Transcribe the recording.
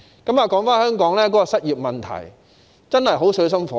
說回香港的失業問題，真是水深火熱。